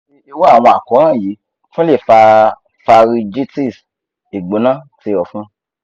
ati iru awọn àkóràn yii tun le fa pharyngitis igbona ti ọfun